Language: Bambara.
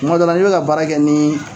Kuma dɔ la n'i be ka baarakɛ nin